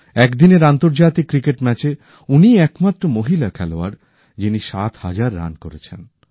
একদিনের আন্তর্জাতিক ক্রিকেট ম্যাচে উনিই একমাত্র মহিলা খেলোয়াড় যিনি সাত হাজার রান করেছেন